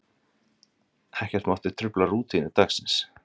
Ekkert mátti trufla rútínu dagsins.